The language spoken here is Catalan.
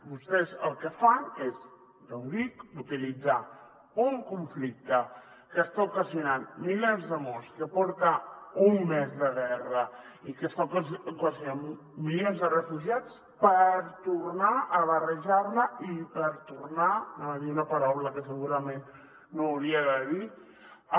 vostès el que fan és ja dic utilitzar un conflicte que està ocasionant milers de morts que porta un mes de guerra i que està ocasionant milions de refugiats per tornar a barrejar·la i per tornar anava dir una paraula que segurament no hauria de dir